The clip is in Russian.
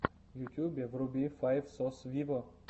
в ютубе вруби файв сос виво